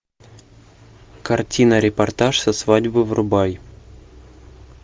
картина репортаж со свадьбы врубай